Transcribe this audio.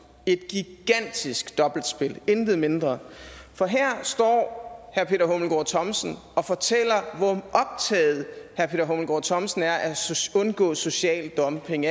et gigantisk dobbeltspil intet mindre for her står herre peter hummelgaard thomsen og fortæller hvor optaget herre peter hummelgaard thomsen er af at undgå social dumping